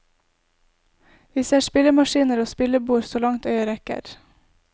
Vi ser spillemaskiner og spillebord så langt øyet rekker.